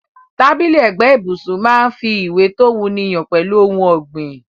Tábìlì ẹ̀gbẹ́ ibùsun máa n fi ìwé to wuni han pẹ́lu oun ògbìn